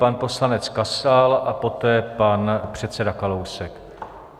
Pan poslanec Kasal a poté pan předseda Kalousek.